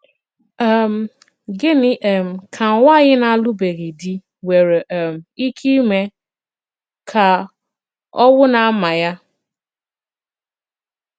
um Gịnị̀ um kà nwànyị̀ na-àlụbèghị di nwere um ìkè ìmè kà òwù na-àmà ya?